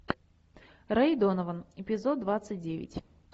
рэй донован эпизод двадцать девять